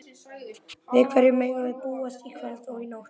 Við hverju megum við búast í kvöld og í nótt?